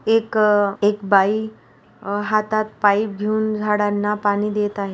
एक अ एक बाई अ हातात पाइप घेऊन झाडांना पाणी देत आहे.